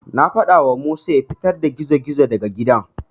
Na faɗawa Musa ya fitar da gizo-gizon daga gidan.